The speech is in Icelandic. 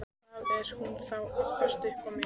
Hvað er hún þá að abbast upp á mig?